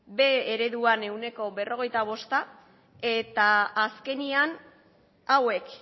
b ereduan ehuneko berrogeita bosta eta azkenean hauek